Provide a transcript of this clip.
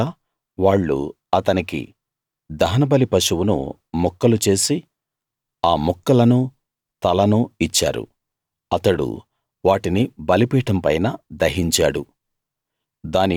తరువాత వాళ్ళు అతనికి దహనబలి పశువును ముక్కలు చేసి ఆ ముక్కలనూ తలనూ ఇచ్చారు అతడు వాటిని బలిపీఠం పైన దహించాడు